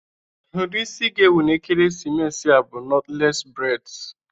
Ụdị isi ga-ewu na ekeresimesi a bụ nọtles breds